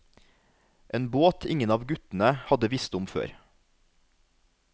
En båt ingen av guttene hadde visst om før.